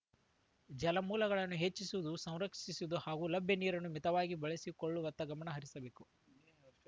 ಜಲಮೂಲಗಳನ್ನು ಹೆಚ್ಚಿಸುವುದು ಸಂರಕ್ಷಿಸುವುದು ಹಾಗೂ ಲಭ್ಯ ನೀರನ್ನು ಮಿತವಾಗಿ ಬಳಸಿಕೊಳ್ಳುವತ್ತ ಗಮನ ಹರಿಸಬೇಕು